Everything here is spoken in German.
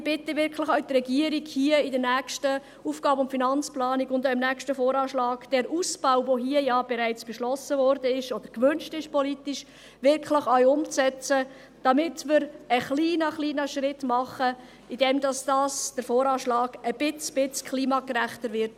Ich bitte auch die Regierung, im nächsten AFP und im nächsten VA den Ausbau, der hier bereits beschlossen oder politisch gewünscht wurde, wirklich umzusetzen, damit wir einen kleinen, kleinen Schritt machen, indem der VA ein kleines bisschen klimagerechter wird.